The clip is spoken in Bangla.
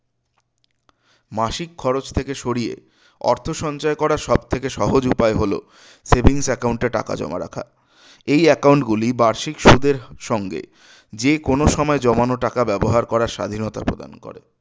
মাসিক খরচ থেকে সরিয়ে অর্থ সঞ্চয় করার করার সবথেকে সহজ উপায় হলো savings account এ টাকা জমা রাখা এই account গুলি বার্ষিক সুদের সঙ্গে যেকোনো সময় জমানো টাকা ব্যবহার করার স্বাধীনতা প্রদান করে